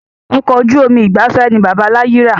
Ọkọ̀ ojú omi ìgbafẹ́ ni bàbá láyi ra